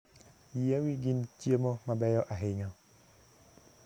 Yiewi gin chiemo mabeyo ahinya.